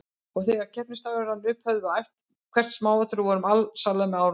Og þegar keppnisdagurinn rann upp höfðum við æft hvert smáatriði og vorum alsælar með árangurinn.